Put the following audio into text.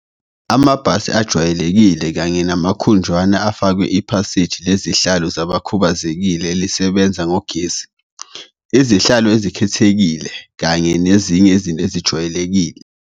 Amabhasi ajwayelekile kanye namakhudlwana afakwe iphasishi lezihlalo zabakhubazekile elisebenza ngogesi, izihlalo ezikhethekile kanye nezinye izinto ezijwayelekile.